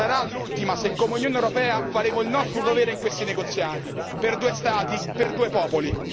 Sarà l'ultima se come Unione europea faremo il nostro dovere in questi negoziati per due Stati, per due popoli.